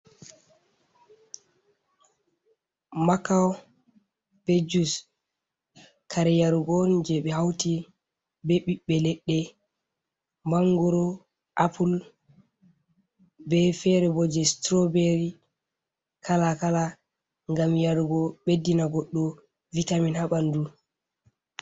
macao be jus kare yarugon je ɓe hauti be ɓiɓɓe leɗɗe mangoro, apple, be fere bo je strawbery kalakala gam yarugo ɓeddina goddo vitamin ha ɓandu.